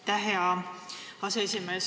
Aitäh, hea aseesimees!